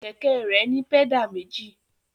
Kẹ̀kẹ́ rẹ̀ ní pẹ́dà méjì.